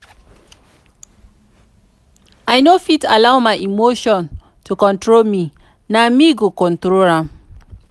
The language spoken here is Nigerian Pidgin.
i no fit allow my emotion to control me na me go control am.